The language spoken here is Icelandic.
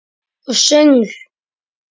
Og söngl.